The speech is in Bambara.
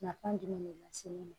Nafa jumɛn de lase ne ma